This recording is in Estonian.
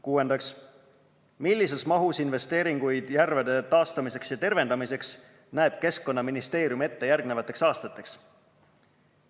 Kuuendaks, millises mahus investeeringuid järvede taastamiseks ja tervendamiseks näeb Keskkonnaministeerium ette järgnevateks aastateks?